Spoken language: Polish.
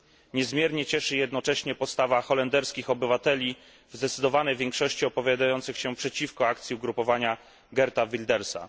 Niezmiernie cieszy jednocześnie postawa holenderskich obywateli w zdecydowanej większości opowiadających się przeciwko akcji ugrupowania Geerta Wildersa.